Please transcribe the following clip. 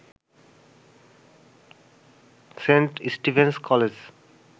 Saint Stephen's college